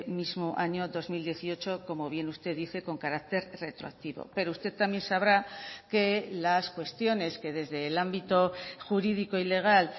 mismo año dos mil dieciocho como bien usted dice con carácter retroactivo pero usted también sabrá que las cuestiones que desde el ámbito jurídico y legal